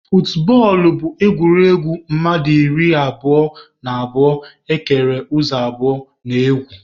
Futbọọlụ bụ egwuregwu mmadụ iri abụo na abụo ekere ụzọ abụọ na-egwu.